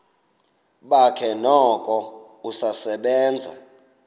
bakhe noko usasebenza